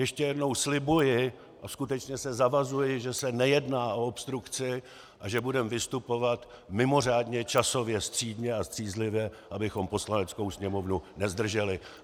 Ještě jednou slibuji a skutečně se zavazuji, že se nejedná o obstrukci a že budeme vystupovat mimořádně časově střídmě a střízlivě, abychom Poslaneckou sněmovnu nezdrželi.